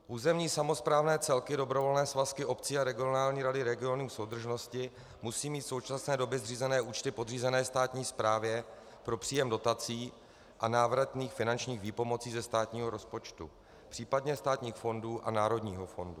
Územní samosprávné celky, dobrovolné svazky obcí a regionální rady regionů soudržnosti musí mít v současné době zřízené účty podřízené státní správě pro příjem dotací a návratných finančních výpomocí ze státního rozpočtu, případně státních fondů a národního fondu.